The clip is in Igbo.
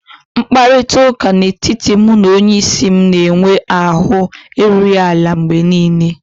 Mkparịta ụka n'etiti mụ na onyeisi m na-enwe ahụ erughị ala mgbe niile